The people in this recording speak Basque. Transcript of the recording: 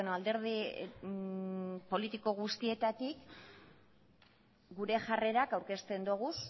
alderdi politiko guztietatik gure jarrerak aurkezten ditugu